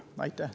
Aitäh!